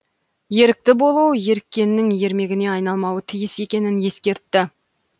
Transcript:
ерікті болу еріккеннің ермегіне айналмауы тиіс екенін ескертті